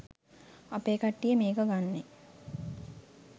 අපේ කට්ටිය මේක ගන්නෙ